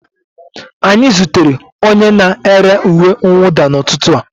Anyị zutere onye na-ere uwe mwụda n'ụtụtụ a